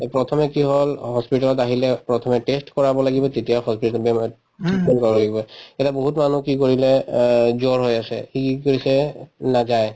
এই প্ৰথমে কি হল hospital ত আহিলে প্ৰথমে test কৰাব লাগিব তেতিয়াহে hospital ত বেমাৰ treatment কৰাব তেতিয়া বহুত মানুহ কি কৰিলে অ জ্বৰ হৈ আছে সি কি কৰিছে নাযায়